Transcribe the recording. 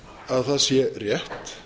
að það sé rétt